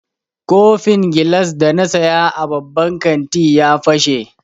Kofin gilas da na saya a babban kanti ya fashe.